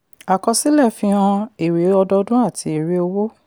àkọsílẹ̀ fi hàn èrè ọdọdún àti èrè owó.